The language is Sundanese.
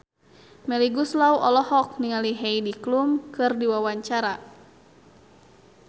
Melly Goeslaw olohok ningali Heidi Klum keur diwawancara